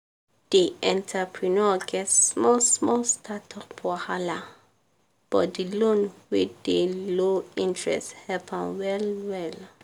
di entrepreneur get small small startup wahala but di loan wey dey low interest help am well well.